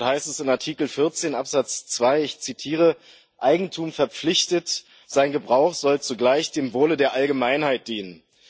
Dort heißt es in Artikel 14 Absatz 2, ich zitiere Eigentum verpflichtet, sein Gebrauch soll zugleich dem Wohle der Allgemeinheit dienen.